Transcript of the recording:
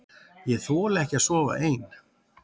Ég þoli ekki að sofa ein.